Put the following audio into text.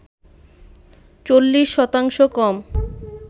৪০ শতাংশ কম